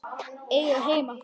Eiga heima þar?